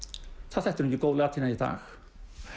það þætti nú ekki góð latína í dag